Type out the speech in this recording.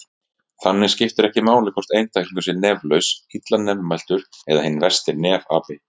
Þannig skiptir ekki máli hvort einstaklingur sé neflaus, illa nefmæltur eða hinn versti nefapi!